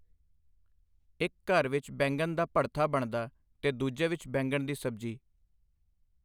ਇੱਕ ਘਰ ਵਿੱਚ ਬੈਂਗਣ ਦਾ ਭੜਥਾ ਬਣਦਾ ਤੇ ਦੂਜੇ ਵਿੱਚ ਬੈਂਗਣ ਦੀ ਸਬਜ਼ੀ।